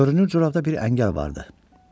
Görünür corabda bir əngəl vardı.